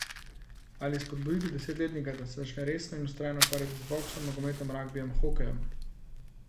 Ali spodbuditi desetletnika, da se začne resno in vztrajno ukvarjati z boksom, nogometom, ragbijem, hokejem?